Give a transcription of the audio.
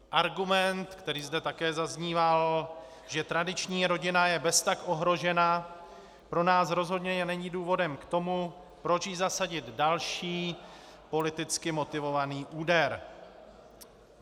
Argument, který zde také zazníval, že tradiční rodina je beztak ohrožena, pro nás rozhodně není důvodem k tomu, proč jí zasadit další politicky motivovaný úder.